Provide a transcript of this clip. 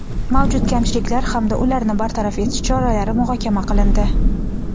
mavjud kamchiliklar hamda ularni bartaraf etish choralari muhokama qilindi.